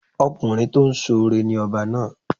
Ọkùnrin tó ń ṣoore ni ọba náà.